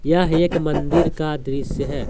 यह एक मंदिर का दृश्य है।